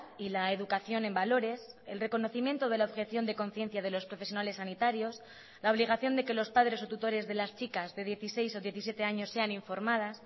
y la educación en valores el reconocimiento de la objeción de conciencia de los profesionales sanitarios la obligación de que los padres o tutores de las chicas de dieciséis o diecisiete años sean informadas